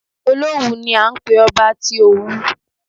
Olówù ni à ń pé ọba tí Òwu.